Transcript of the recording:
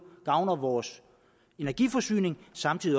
gavner vores energiforsyning og samtidig